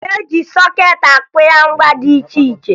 E ji sọkeetị akwụnye ngwa dị iche iche